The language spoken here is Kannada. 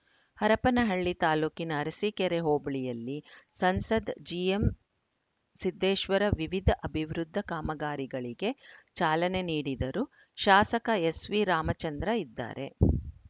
ಹರಪನಹಳ್ಳಿ ತಾಲೂಕಿನ ಅರಸಿಕೇರಿ ಹೋಬಳಿಯಲ್ಲಿ ಸಂಸದ್ ಜಿಎಂಸಿದ್ದೇಶ್ವರ ವಿವಿಧ ಅಭಿವೃದ್ಧಿ ಕಾಮಗಾರಿಗಳಿಗೆ ಚಾಲನೆ ನೀಡಿದರು ಶಾಸಕ ಎಸ್‌ವಿ ರಾಮಚಂದ್ರ ಇದ್ದಾರೆ